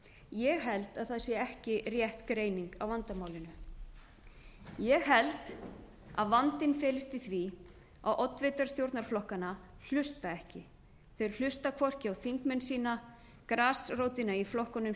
ég held að það sé ekki rétt greining á vandamálinu ég held að vandinn felist í því að oddvitar stjórnarflokkanna hlusta ekki þeir hlusta hvorki á þingmenn sína grasrótina í flokkunum